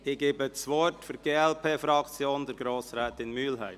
– Ich gebe das Wort für die glp-Fraktion Grossrätin Mühlheim.